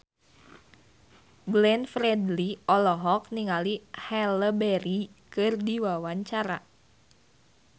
Glenn Fredly olohok ningali Halle Berry keur diwawancara